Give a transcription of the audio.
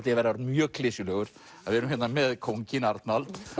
ég að vera mjög klisjulegur að við erum hérna með kónginn Arnald